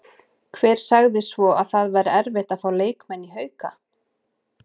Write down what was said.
Hver sagði svo að það væri erfitt að fá leikmenn í Hauka?